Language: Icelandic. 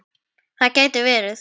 Það gæti verið